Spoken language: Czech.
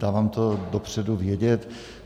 Dávám to dopředu vědět.